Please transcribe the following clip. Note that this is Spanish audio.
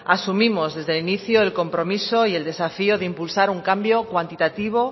asumimos desde el inicio el compromiso y el desafía de impulsar un cambio cuantitativo